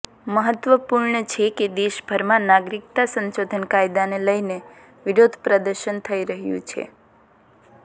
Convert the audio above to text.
મહત્વપૂર્ણ છે કે દેશભરમાં નાગરિકતા સંશોધન કાયદાને લઇને વિરોધ પ્રદર્શન થઇ રહ્યું છે